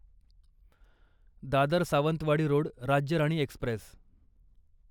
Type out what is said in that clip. Dadar Sawantwadi Road Rajya Rani Express